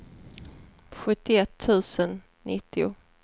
sjuttioett tusen nittio